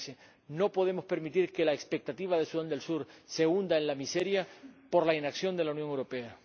2013. No podemos permitir que las expectativas de Sudán del Sur se hundan en la miseria por la pasividad de la Unión Europea.